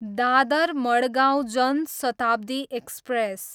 Dadar, Madgaon Janshatabdi express